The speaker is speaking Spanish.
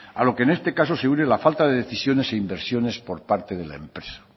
a lo que en este caso se une la falta de decisiones e inversiones por parte de la empresa